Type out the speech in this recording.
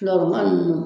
Filama ninnu